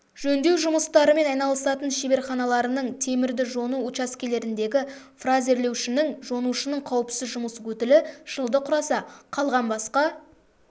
жөндеу жұмыстарымен айналысатын шеберханаларының темірді жону учаскелеріндегі фрезерлеушінің жонушының қауіпсіз жұмыс өтілі жылда құраса қалған басқа